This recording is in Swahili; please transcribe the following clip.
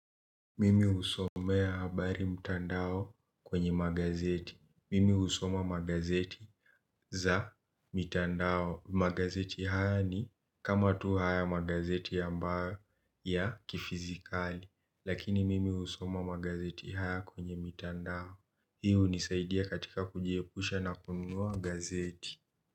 Mimi husomea habari mtandao kwenye magazeti, mimi husoma magazeti za mitandao. Magazeti haya ni kama tu haya magazeti ambayo ya kifizikali. Lakini mimi husoma magazeti haya kwenye mitandao. Hii hunisaidia katika kujiepusha na kununua gazeti.